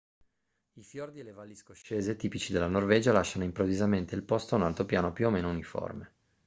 i fiordi e le valli scoscese tipici della norvegia lasciano improvvisamente il posto a un altopiano più o meno uniforme